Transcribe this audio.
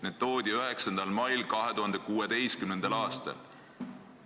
Need toodi sinna 9. mail 2016. aastal.